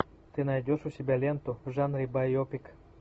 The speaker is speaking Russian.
ты найдешь у себя ленту в жанре байопик